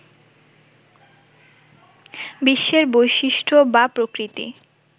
বিশ্বের বৈশিষ্ট্য বা প্রকৃতি